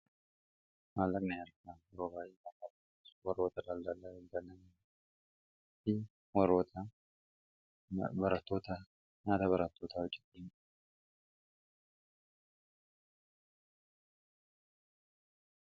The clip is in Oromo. mallaqna yarkaa robaayii makatas warroota lalzalaa banam fi waroota baratoota naata baratoota ajidhim